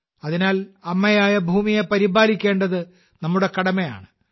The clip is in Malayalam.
അതിനാൽ അമ്മയായ ഭൂമിയെ പരിപാലിക്കേണ്ടത് നമ്മുടെ കടമയാണ്